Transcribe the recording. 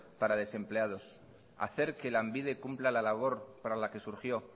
para los desempleados hacer que lanbide cumpla la labor para la que surgió